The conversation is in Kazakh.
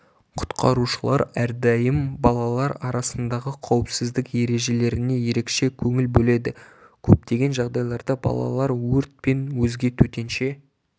құтқарушылар әрдайым балалар арасындағы қауіпсіздік ережелеріне ерекше көңіл бөледі көптеген жағдайларда балалар өрт пен өзге төтенше